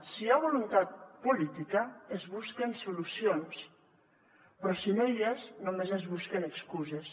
si hi ha voluntat política es busquen solucions però si no hi és només es busquen excuses